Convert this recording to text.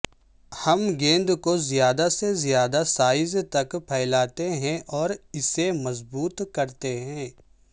ہم گیند کو زیادہ سے زیادہ سائز تک پھیلاتے ہیں اور اسے مضبوط کرتے ہیں